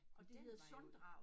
Og det hedder Sunddraget